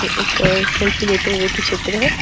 ये एक सेल्फी लेते हुए की चित्र है।